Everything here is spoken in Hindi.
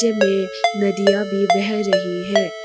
वे नदिया भी बह रही है।